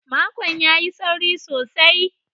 Makon ya yi sauri sosai.